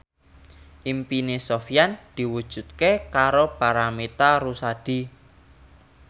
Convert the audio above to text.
impine Sofyan diwujudke karo Paramitha Rusady